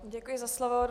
Děkuji za slovo.